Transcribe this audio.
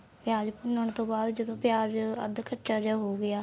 ਪਿਆਜ ਭੂੰਨਣ ਤੋਂ ਬਾਅਦ ਜਦੋਂ ਪਿਆਜ ਅੱਧ ਕਚਾ ਜਿਆ ਹੋ ਗਿਆ